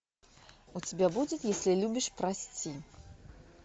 у тебя будет если любишь прости